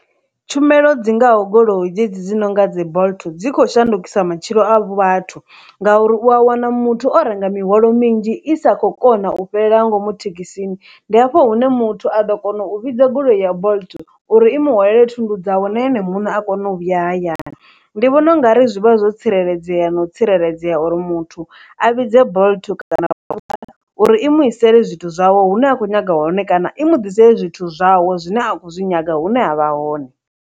Tshumelo dzingaho goloi dzedzi dzi nonga dzi bolt dzi khou shandukisa matshilo a vhathu ngauri, u wa wana muthu o renga mihwalo minzhi i sa khou kona u fhelela ngomu thekhisini, ndi hafho hune muthu a ḓo kona u vhidza goloi ya bolt uri i mu hwalele thundu dzawe na ene muṋe a kone u vhuya hayani, ndi vhona ungari zwi vha zwo tsireledzea no tsireledzea uri muthu a vhidze bolt kana uri i muisele zwithu zwawe hune a khou nyaga hone kana i mu ḓisela zwithu zwawe zwine a khou zwi nyaga hune a vha hone.